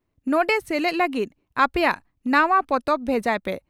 ᱱᱚᱸᱰᱮ ᱥᱮᱞᱮᱫ ᱞᱟᱹᱜᱤᱫ ᱟᱯᱮᱭᱟᱜ ᱱᱟᱣᱟ ᱯᱚᱛᱚᱵ ᱵᱷᱮᱡᱟᱭ ᱯᱮ